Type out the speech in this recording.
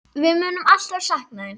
Við munum alltaf sakna þín.